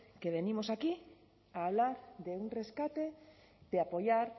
que venimos aquí a hablar de un rescate de apoyar